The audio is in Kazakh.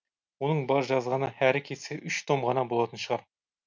оның бар жазғаны әрі кетсе үш том ғана болатын шығар